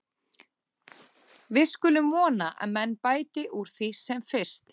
Við skulum vona að menn bæti úr því sem fyrst.